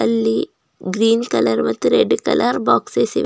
ಅಲ್ಲಿ green colour ಮತ್ತು red colour boxes ಇವ್ --